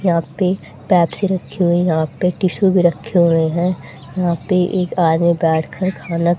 यहां पे पेप्सी रखी हुई है। यहां पे टिशु भी रखे हुए हैं। यहां पे एक आदमी बैठकर खाना --